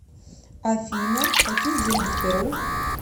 афина какие деньги в перу